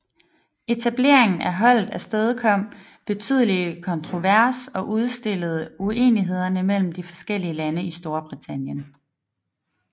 Etableringen af holdet afstedkom betydelig kontrovers og udstillede uenighederne mellem de forskeliige lande i Storbritannien